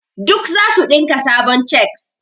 Duk zasu dinka sabon cheks.